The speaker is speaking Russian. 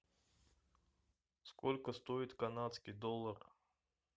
сколько стоит канадский доллар